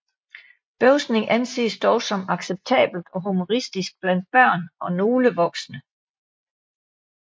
Bøvsning anses dog som acceptabelt og humoristisk blandt børn og nogle voksne